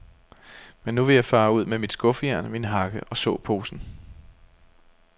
Men nu vil jeg fare ud med mit skuffejern, min hakke og såposen.